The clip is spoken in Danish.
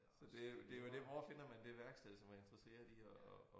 Så det jo det jo det hvor finder man det værksted som er interesseret i at at